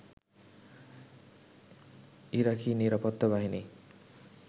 ইরাকি নিরাপত্তা বাহিনী